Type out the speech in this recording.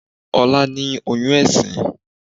Ọlá ní oyún ẹ̀sín